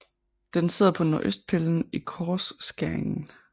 Den sidder på nordøstpillen i korsskæringen